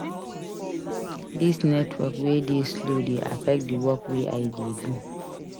Dis network wey dey slow dey affect di work wey I dey do.